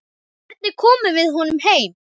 Hvernig komum við honum heim?